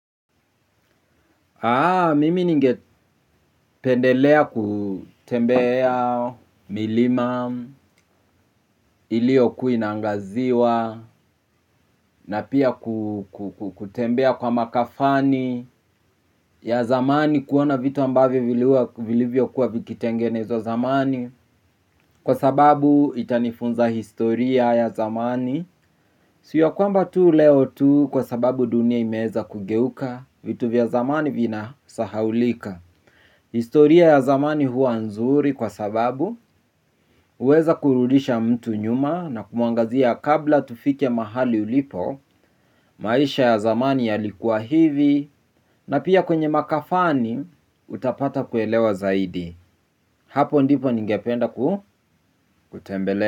Mimi ninge pendelea kutembea milima iliyo kuwa inaangaziwa na pia kutembea kwa makafani ya zamani kuona vitu ambavyo vilivyo kuwa vikitengenezwa zamani. Kwa sababu itanifunza historia ya zamani. Siyo kwamba tu leo tu kwa sababu dunia imeeza kugeuka vitu vya zamani vina sahaulika. Historia ya zamani huwa nzuri kwa sababu uweza kurudisha mtu nyuma na kumuangazia kabla tufike mahali ulipo maisha ya zamani ya likuwa hivi na pia kwenye makafani utapata kuelewa zaidi. Hapo ndipo ningependa kutembele.